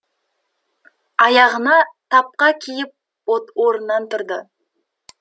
аяғына тапқа киіп орнынан тұрды